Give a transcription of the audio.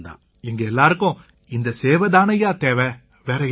எங்க எல்லாருக்கும் இந்தச் சேவை தானேய்யா தேவை வேற என்ன